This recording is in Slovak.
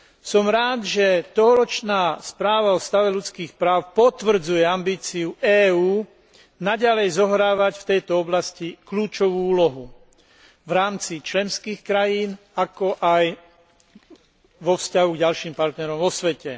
Som rád, že tohoročná správa o stave ľudských práv potvrdzuje ambíciu EÚ naďalej zohrávať v tejto oblasti kľúčovú úlohu v rámci členských krajín, ako aj vo vzťahu k ďalším partnerom vo svete.